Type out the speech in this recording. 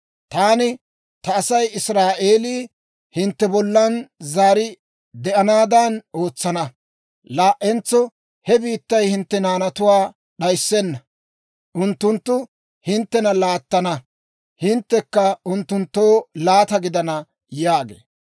Taani ta Asay Israa'eelii hintte bollaan zaari de'anaadan ootsana. Laa"entso he biittay hintte naanatuwaa d'ayissenna. Unttunttu hinttena laattana; hinttekka unttunttoo laata gidana» yaagee.